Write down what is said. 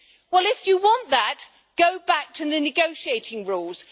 Well, if you want that, go back to the negotiating rules.